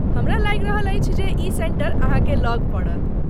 हमरा लागि रहल अछि जे ई सेंटर अहाँके लग पड़त।